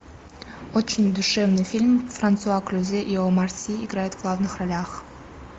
очень душевный фильм франсуа клюзе и омар си играют в главных ролях